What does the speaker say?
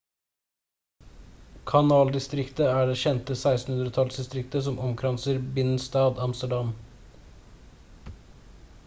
kanaldistriktet er det kjente 1600-tallsdistriktet som omkranser binnenstad amsterdam